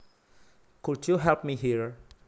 Could you help me here